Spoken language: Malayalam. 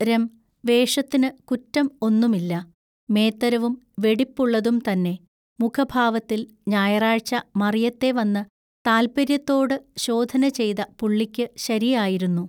രം വേഷത്തിനു കുറ്റം ഒന്നുമില്ല. മേത്തരവും വെടിപ്പുള്ളതും തന്നെ മുഖഭാവത്തിൽ ഞായറാഴ്ച മറിയത്തെ വന്നു താല്പൎയ്യത്തോട് ശോധനചെയ്ത പുള്ളിക്കു ശരിയായിരുന്നു.